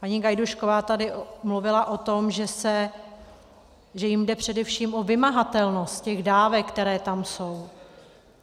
Paní Gajdůšková tady mluvila o tom, že jim jde především o vymahatelnost těch dávek, které tam jsou.